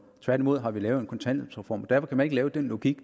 tværtimod har vi lavet en kontanthjælpsreform derfor kan man ikke lave den logik